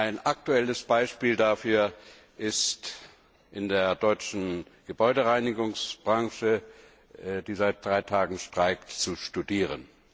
Ein aktuelles Beispiel dafür ist in der deutschen Gebäudereinigungsbranche, die seit drei Tagen streikt, zu studieren.